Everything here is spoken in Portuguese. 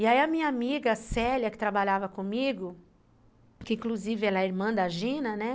E aí a minha amiga Célia, que trabalhava comigo, que inclusive ela é irmã da Gina, né?